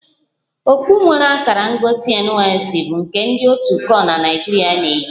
Okpu nwere akara ngosi NYSC bụ nke ndị otu kor na Naijirịa na-eyi